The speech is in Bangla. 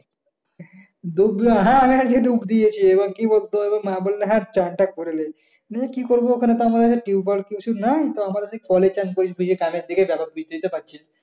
ডূব দেওয়া হ্যাঁ আমি আজকে ডুব দিয়েছি এবং কি বলতো না বললে চান টা করে ফেলেছি কি করবো ওখানে তো tubewell নাই ।